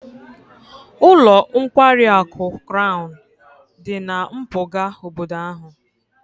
Ụlọ nkwari akụ Crown dị na mpụga obodo ahụ